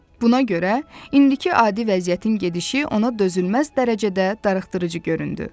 Buna görə indiki adi vəziyyətin gedişi ona dözülməz dərəcədə darıxdırıcı göründü.